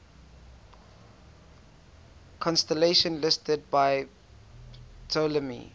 constellations listed by ptolemy